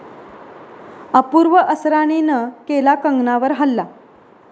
अपूर्व असरानीनं केला कंगनावर हल्ला